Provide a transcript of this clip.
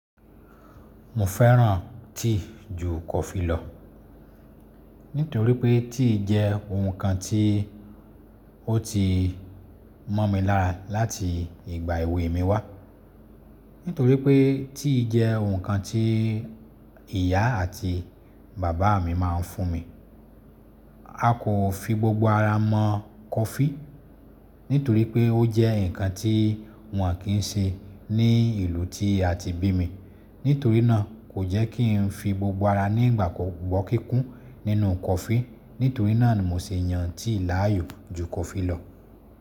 Mo fẹ́ràn tea ju kọfí lọ, nítorí pé tea jẹ́ ohun kan tí ó ti mọ̀ mi lára láti ìgbà èwe mi wá. Nítorí pé tea jẹ́ ohun kan tí ìyá àti bàbá mi má a ń fún mi. A kò fi gbogbo ara mọ kọfí, nítorí pé ó jẹ́ ǹkan tí wọ́n kì í ṣe ní ìlú tí a ti bí mi. Nítorí náà kò jẹ́ kí n fi gbogbo ara ní ìgbàgbọ́ kíkún nínú kọfí. Nítorí náà ni mo se yan tea láàyò ju kọfí lọ.